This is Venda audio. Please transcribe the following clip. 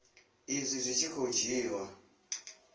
izwi zwi tshi khou dzhiiwa